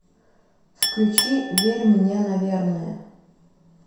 включи верь мне наверное